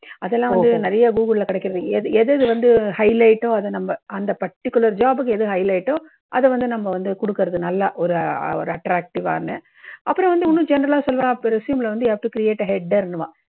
அதெல்லாம் வந்து நிறைய google ல கிடைக்கறது. எது எது வந்து highlight டோ, அத நம்ம அந்த particular job புக்கு எது highlight டோ, அதை வந்து நம்ப வந்து குடுக்கறது, நல்ல ஒரு ஒரு attractive வா அந்த, அப்புறம் வந்து இன்னும் general லா சொல்லணும்னா resume ல வந்து you have to create a header னுவா.